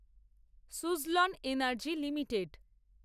Suzlon Energy limited